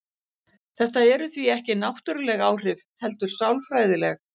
Þetta eru því ekki náttúruleg áhrif heldur sálfræðileg.